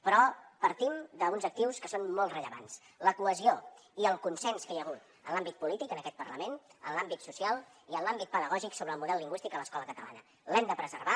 però partim d’uns actius que són molt rellevants la cohesió i el consens que hi ha hagut en l’àmbit polític en aquest parlament en l’àmbit social i en l’àmbit pedagògic sobre el model lingüístic a l’escola catalana els hem de preservar